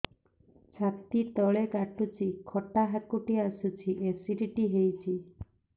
ଛାତି ତଳେ କାଟୁଚି ଖଟା ହାକୁଟି ଆସୁଚି ଏସିଡିଟି ହେଇଚି